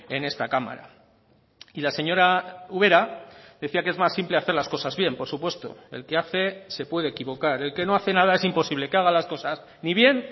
en esta cámara y la señora ubera decía que es más simple hacer las cosas bien por supuesto el que hace se puede equivocar el que no hace nada es imposible que haga las cosas ni bien